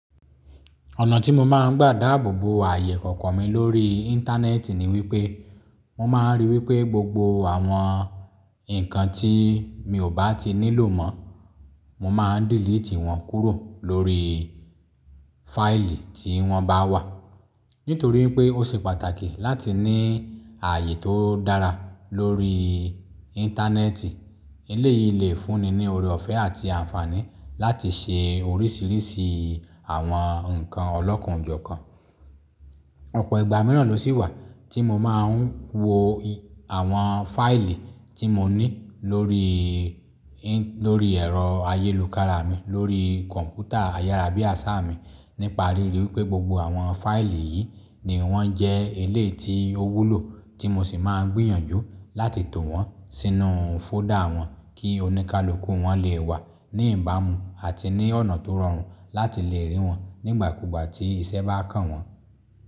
Ọ̀nà tí mo máa ń gbà dáàbò bo ààyè ikọ̀ọ̀kan mi lórí íńtánẹ́ẹ̀tì ni wípé, mo máa ń rí wípé gbogbo àwọn nǹkan tí mi ò bá ti nílò mọ́, mo máa ń dílítì wọ́n kúrò lórí fáìlì tí wọ́n bá wà. Nítorí pé ó ṣe pàtàkì láti ní ààyè tó dára lórí íńtánẹ́ẹ̀tì. Ilé yìí le fúnni ní oore ọ̀fẹ́ àti àǹfààní láti ṣe oríṣìíríṣìí àwọn nǹkan ọlọ́kanòjokan. Ọ̀pọ̀ ìgbà mìíràn ló sì wà tí mo máa ń wo àwọn fáìlì tí mo ní lórí, lórí ẹ̀rọ ayélujára mi, lórí kọ̀ǹpútà ayárábiàsá mi nípa ríi rí wípé gbogbo àwọn fáìlì yìí ni wọ́n jẹ́ eléyìí tí ó wúlò tí mo sì máa ń gbìyànjú láti to wọ́n sínú fóldà wọn kí oníkálukú wọn lè wà ní ìbámu àti ní ọ̀nà tó rọrùn láti lè rí wọn nígbàkúgbà tí ìṣẹ́ bá kàn wọ́n.